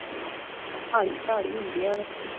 ਪਹਾੜੀ ਪਹਾੜੀ ਹੁੰਦੀਆਂ ਨੇ